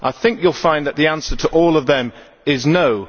I think you will find that the answer to all of them is no.